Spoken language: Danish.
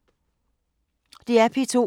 DR P2